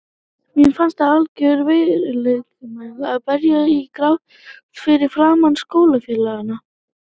Mér fannst það algjört veikleikamerki að bresta í grát fyrir framan skólafélagana.